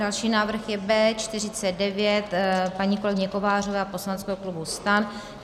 Další návrh je B49 paní kolegyně Kovářové a poslaneckého klubu STAN.